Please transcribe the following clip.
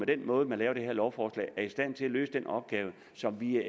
den måde man laver det her lovforslag er i stand til at løse den opgave som vi